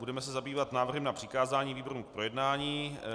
Budeme se zabývat návrhem na přikázání výborům k projednání.